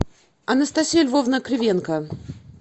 анастасия львовна кривенко